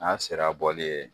N'a sera bɔli ye